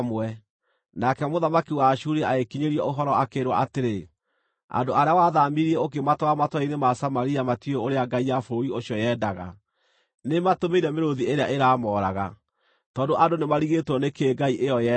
Nake mũthamaki wa Ashuri agĩkinyĩrio ũhoro akĩĩrwo atĩrĩ: “Andũ arĩa wathaamirie ũkĩmatwara matũũra-inĩ ma Samaria matiũĩ ũrĩa ngai ya bũrũri ũcio yendaga. Nĩĩmatũmĩire mĩrũũthi ĩrĩa ĩramooraga, tondũ andũ nĩmarigĩtwo nĩ kĩĩ ngai ĩyo yendaga.”